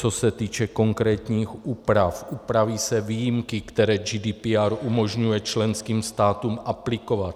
Co se týče konkrétních úprav, upraví se výjimky, které GDPR umožňuje členským státům aplikovat.